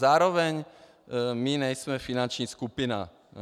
Zároveň my nejsme finanční skupina.